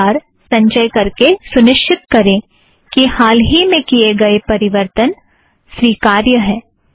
हर भार संचय करके सुनिश्चित करें कि हाल ही में किए गए परिवर्तन स्वीकार्य हैं